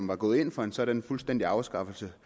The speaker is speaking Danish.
var gået ind for en sådan fuldstændig afskaffelse